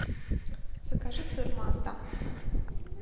закажи сыр мазда